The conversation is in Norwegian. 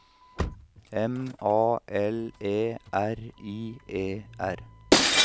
M A L E R I E R